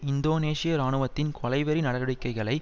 இந்தோனேஷிய இராணுவத்தின் கொலைவெறி நடவடிக்கைகளை